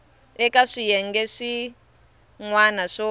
eka swiyenge swin wana swo